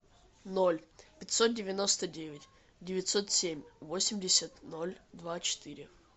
ноль пятьсот девяносто девять девятьсот семь восемьдесят ноль два четыре